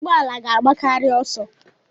Ụgbọ ala ga-agbakarị ọsọ.